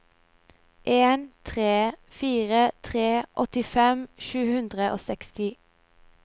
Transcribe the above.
en tre fire tre åttifem sju hundre og seksti